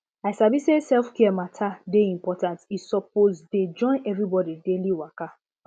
i sabi say selfcare matter dey important e suppose dey join everybody daily waka